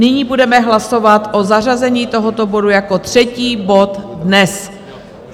Nyní budeme hlasovat o zařazení tohoto bodu jako třetí bod dnes.